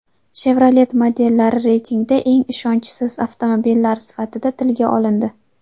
Chevrolet modellari reytingda eng ishonchsiz avtomobillar sifatida tilga olindi.